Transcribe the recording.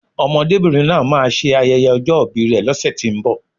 Ọmọdébìnrin náà máà ń ṣe ayẹyẹ ọjọ́ ìbi rè lọ́sẹ̀tínbọ̀